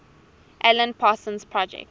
alan parsons project